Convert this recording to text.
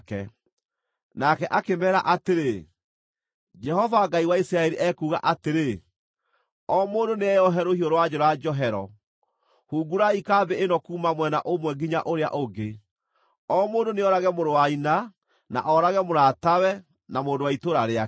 Nake akĩmeera atĩrĩ, “Jehova Ngai wa Isiraeli ekuuga atĩrĩ, ‘O mũndũ nĩeyohe rũhiũ rwa njora njohero. Hungurai kambĩ ĩno kuuma mwena ũmwe nginya ũrĩa ũngĩ, o mũndũ nĩoorage mũrũ wa nyina na oorage mũratawe na mũndũ wa itũũra rĩake.’ ”